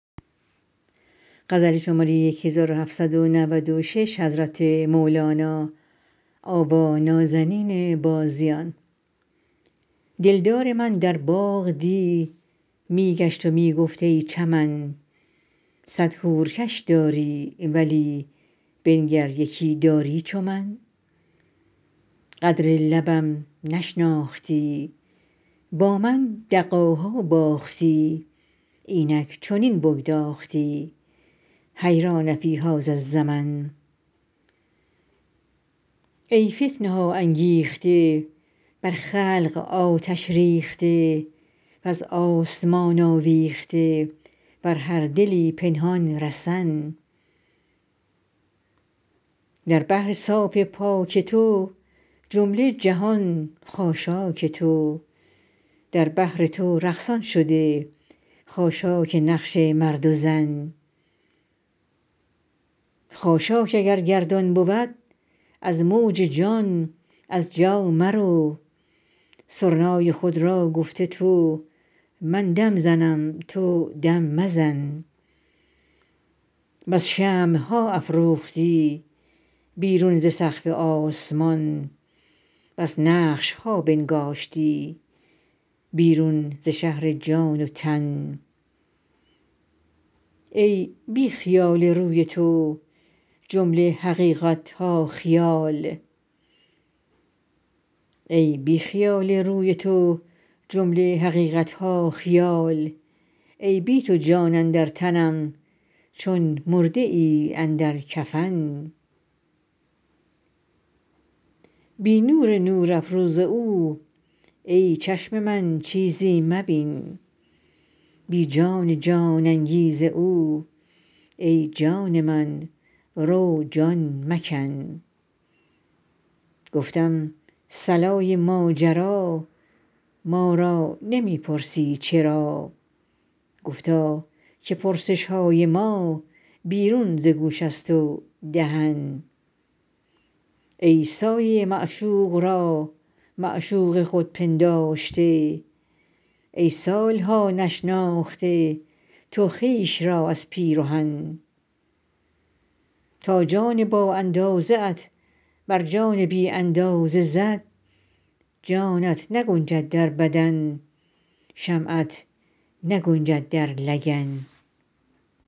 دلدار من در باغ دی می گشت و می گفت ای چمن صد حور کش داری ولی بنگر یکی داری چو من قدر لبم نشناختی با من دغاها باختی اینک چنین بگداختی حیران فی هذا الزمن ای فتنه ها انگیخته بر خلق آتش ریخته وز آسمان آویخته بر هر دلی پنهان رسن در بحر صاف پاک تو جمله جهان خاشاک تو در بحر تو رقصان شده خاشاک نقش مرد و زن خاشاک اگر گردان بود از موج جان از جا مرو سرنای خود را گفته تو من دم زنم تو دم مزن بس شمع ها افروختی بیرون ز سقف آسمان بس نقش ها بنگاشتی بیرون ز شهر جان و تن ای بی خیال روی تو جمله حقیقت ها خیال ای بی تو جان اندر تنم چون مرده ای اندر کفن بی نور نورافروز او ای چشم من چیزی مبین بی جان جان انگیز او ای جان من رو جان مکن گفتم صلای ماجرا ما را نمی پرسی چرا گفتا که پرسش های ما بیرون ز گوش است و دهن ای سایه معشوق را معشوق خود پنداشته ای سال ها نشناخته تو خویش را از پیرهن تا جان بااندازه ات بر جان بی اندازه زد جانت نگنجد در بدن شمعت نگنجد در لگن